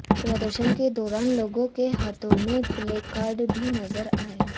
प्रदर्शन के दौरान लोगों के हाथों में प्ले कार्ड्स भी नजर आए